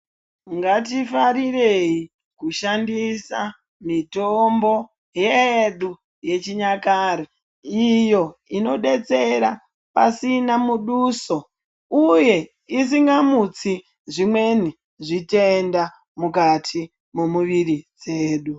Ngatifarirei kushandisa mitombo yedu yechinyakare iyo inodetsera pasina muduso uye isingamutsi zvimweni zvitenda mukati momuviri dzedu.